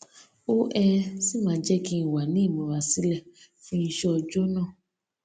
ó um sì máa ń jé kí n wà ní ìmúrasílè fún iṣé ọjó náà